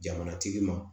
Jamana tigi ma